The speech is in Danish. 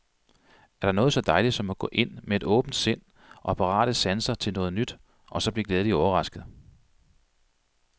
Er der noget så dejligt som at gå ind, med åbent sind og parate sanser til noget nyt, og så blive glædeligt overrasket.